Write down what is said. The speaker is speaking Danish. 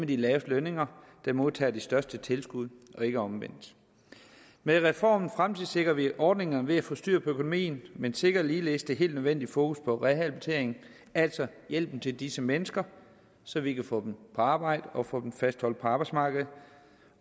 de laveste lønninger der modtager de største tilskud og ikke omvendt med reformen fremtidssikrer vi ordningerne ved at få styr på økonomien men sikrer ligeledes det helt nødvendige fokus på rehabilitering altså hjælpen til disse mennesker så vi kan få dem i arbejde og få dem fastholdt på arbejdsmarkedet